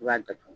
I b'a datugu